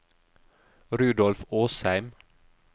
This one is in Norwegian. Rudolf Åsheim